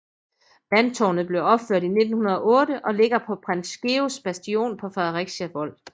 Vandtårnet blev opført i 1908 og ligger på Prins Georgs Bastion på Fredericia Vold